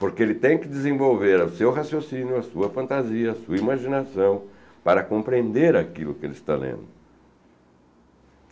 Porque ele tem que desenvolver o seu raciocínio, a sua fantasia, a sua imaginação para compreender aquilo que ele está lendo.